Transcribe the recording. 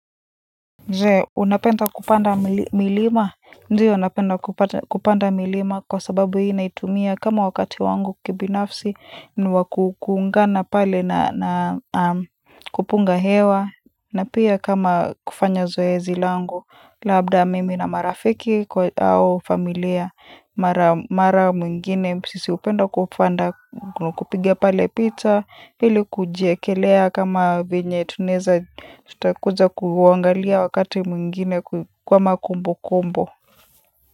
Je, unapenda kupanda milima? Ndio napenda kupanda milima kwa sababu hii naitumia kama wakati wangu kibinafsi, niwa kuungana pale na kupunga hewa, na pia kama kufanya zoezi langu, labda mimi na marafiki au familia, mara mwingine, sisi hupenda kupanda, kupiga pale picha, ili kujiekelea kama venye tunaeza, tutakuja kuangalia wakati mwingine kama kumbu kumbu.